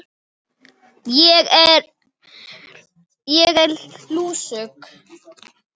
Ég er lúsug.